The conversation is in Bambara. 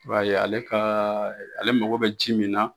I b'a ye ale kaaa ale mako bɛ ji min na.